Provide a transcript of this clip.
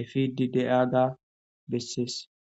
efidi de7aga bessees